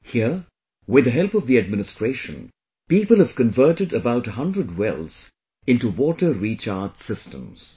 Here, with the help of the administration, people have converted about a hundred wells into water recharge systems